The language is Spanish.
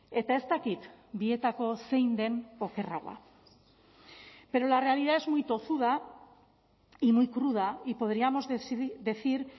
eta ez dakit bietako zein den okerragoa pero la realidad es muy tozuda y muy cruda y podríamos decir